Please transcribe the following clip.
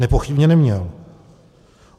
Nepochybně neměl.